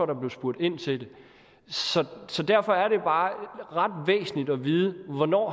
der blev spurgt ind til det så derfor er det bare ret væsentligt at vide hvornår